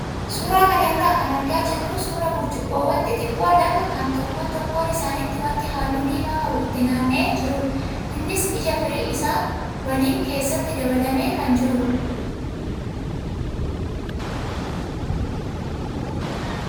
Suuraa kana irraa kan argaa jirru suuraa burcuqqoowwan xixiqqoo lama kan tokkoon tokkoo isaaniitti wanti halluu diimaa qabu itti nam'ee jirudha. Innis ija firii isaa waliin keessatti dabalamee kan jirudha.